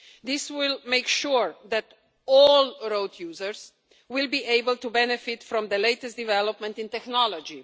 This will make sure that all road users will be able to benefit from the latest developments in technology.